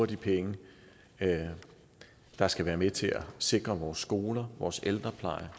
de penge der skal være med til at sikre vores skoler vores ældrepleje